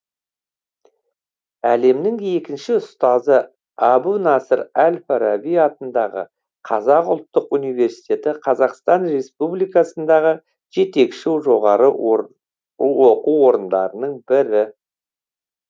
әлемнің екінші ұзтазы әбу насыр әл фараби атындағы қазақ ұлттық университеті қазақстан республикасындағы жетекші жоғары оқу орындарының бірі